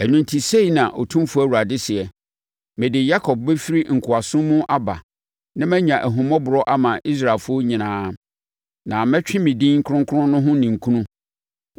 “Ɛno enti sei na Otumfoɔ Awurade seɛ: Mede Yakob bɛfiri nkoasom mu aba na manya ahummɔborɔ ama Israelfoɔ nyinaa, na mɛtwe me din kronkron no ho ninkunu.